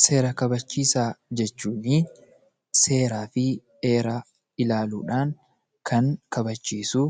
Seera kabachiisaa jechuun seeraa fi heera ilaaluudhaan, kan kabachiisuu